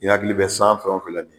I hakili bɛ san fɛn o fɛn la bi